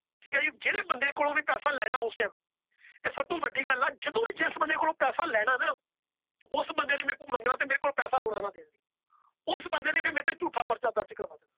ਠੀਕ ਏ ਜੀ ਜਿਹੜੇ ਬੰਦੇ ਕੋਲੋਂ ਪੈਸੇ ਲੈਣਾ ਉਸ Time । ਤੇ ਸਭ ਤੋਂ ਵੱਡੀ ਗੱਲ ਏ ਜਦੋ ਵੀ ਜਿਸ ਬੰਦੇ ਕੋਲੋਂ ਪੈਸਾ ਲੈਣਾ। ਉਸ ਬੰਦੇ ਨੇ ਮੇਰੇ ਕੋਲੋਂ ਮੰਗਣਾ ਤੇ ਮੇਰੇ ਕੋਲ ਪੈਸਾ ਹੋਣਾ ਨਾ। ਉਸ ਬੰਦੇ ਨੇ ਫਿਰ ਮੇਰੇ ਤੇ ਝੂਠਾ ਪਰਚਾ ਦਰਜ